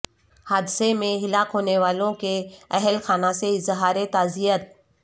حادثے میں ہلاک ہونے والوں کے اہل خانہ سے اظہار تعزیت